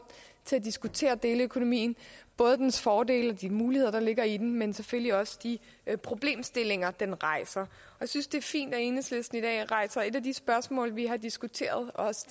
til at diskutere deleøkonomien dens fordele og de muligheder der ligger i den men selvfølgelig også de problemstillinger den rejser jeg synes det er fint at enhedslisten i dag rejser et af de spørgsmål vi har diskuteret